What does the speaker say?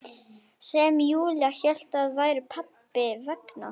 Sem Júlía hélt að væru pabba vegna.